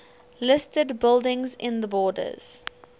listed buildings in the borders